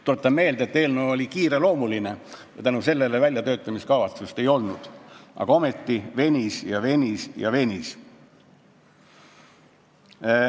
Tuletan meelde, et eelnõu oli kiireloomuline, seetõttu väljatöötamiskavatsust ei olnud, aga ometi selle menetlus venis ja venis.